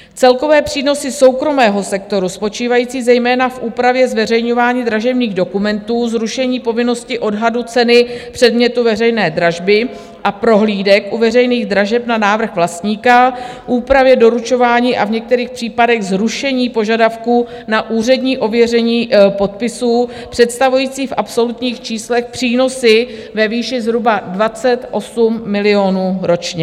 Celkové přínosy soukromého sektoru spočívající zejména v úpravě zveřejňování dražebních dokumentů, zrušení povinnosti odhadu ceny předmětu veřejné dražby a prohlídek u veřejných dražeb na návrh vlastníka, úpravě doručování a v některých případech zrušení požadavků na úřední ověření podpisů představující v absolutních číslech přínosy ve výši zhruba 28 milionů ročně.